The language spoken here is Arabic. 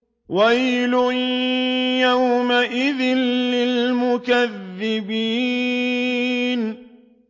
وَيْلٌ يَوْمَئِذٍ لِّلْمُكَذِّبِينَ